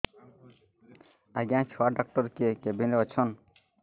ଆଜ୍ଞା ଛୁଆ ଡାକ୍ତର କେ କେବିନ୍ ରେ ଅଛନ୍